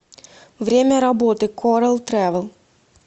время работы корал трэвел